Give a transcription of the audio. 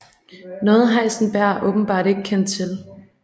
Noget Heisenberg åbenbart ikke kendte til